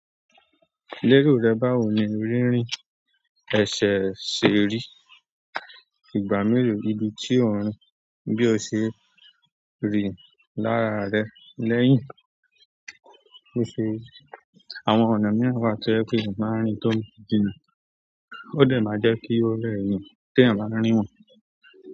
Léro rẹ bá wo ní rírìn, ẹ̀ṣẹ̀ ṣè rí. Ìgbà mélòó nibi tí o n rìn bí o ṣe rìn lára rẹ lẹ́yìn tó ṣe rí. Àwọn ọ̀nà mìíràn wa to je pé eyan máa ń rìn tó jina. Ó dẹ̀ máa jẹ́ kí ó rẹ́ eyan tí ẹ̀yàn bá rí wọn.